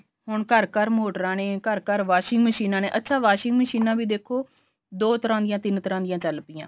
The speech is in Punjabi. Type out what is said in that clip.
ਹੁਣ ਘਰ ਘਰ ਮੋਟਰਾ ਨੇ ਘਰ ਘਰ washing ਮਸ਼ੀਨਾ ਨੇ ਅੱਛਾ washing ਮਸ਼ੀਨਾ ਵੀ ਦੇਖੋ ਦੋ ਤਰ੍ਹਾਂ ਦੀਆਂ ਤਿੰਨ ਤਰ੍ਹਾਂ ਦੀ ਚੱਲ ਪੀਆਂ